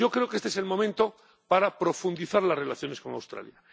Creo que este es el momento para profundizar en las relaciones con Australia.